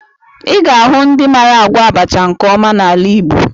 Ị ga-ahụ ndị mara agwọ abacha nke ọma n'ala Igbo